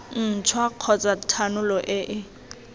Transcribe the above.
ntšhwa kgotsa thanolo e e